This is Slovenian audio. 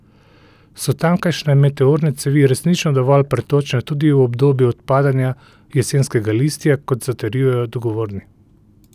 So tamkajšnje meteorne cevi resnično dovolj pretočne tudi v obdobju odpadanja jesenskega listja, kot zatrjujejo odgovorni?